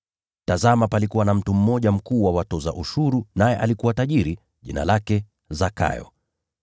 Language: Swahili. Tazama, palikuwa na mtu mmoja mkuu wa watoza ushuru naye alikuwa tajiri, jina lake Zakayo.